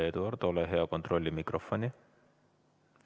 Eduard, ole hea, kontrolli mikrofoni.